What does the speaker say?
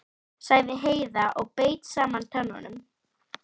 sagði Heiða og beit saman tönnunum.